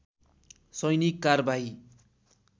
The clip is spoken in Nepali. सैनिक कारबाही